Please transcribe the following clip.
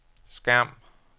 skærm